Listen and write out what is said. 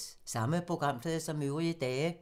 Samme programflade som øvrige dage